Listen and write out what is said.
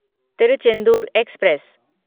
Tiruchendur express